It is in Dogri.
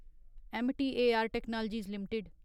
M T A R technologies limited